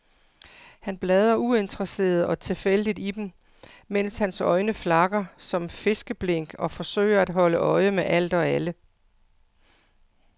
Han bladrer uinteresseret og tilfældigt i dem, mens hans øjne flakker som fiskeblink og forsøger at holde øje med alt og alle.